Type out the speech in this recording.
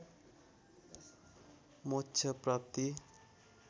मोक्ष प्राप्ति